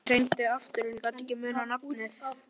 Ég reyndi aftur en ég gat ekki munað nafnið.